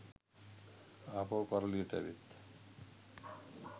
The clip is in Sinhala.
ආපහු කරලියට ඇවිත්